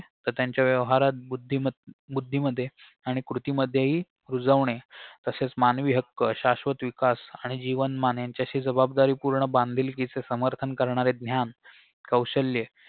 तर त्यांच्या व्यवहारात बुद्धिम बुद्धीमध्ये आणि कृतीमध्येही रुजवणे तसेच मानवीहक्क शाश्वत विकास आणि जीवनमान यांच्याशी जबाबदारीपूर्ण बांधिलकीचे समर्थन करणारे ज्ञान कौशल्ये